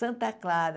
Santa Clara.